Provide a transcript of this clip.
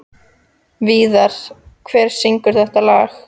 Víðar, hver syngur þetta lag?